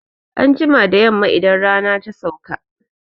Anjima da Yamma idan rana ya sauka